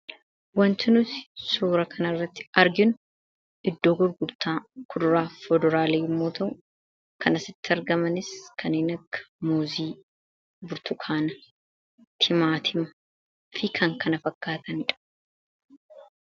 Waanti nuti suura kanarratti arginu iddoo gurgurtaa kuduraa fi fuduraalee yommuu ta'u, kan asitti argamanis kanneen akka muuzii, burtukaana, timaatima, fi kan kana fakkaatanidha.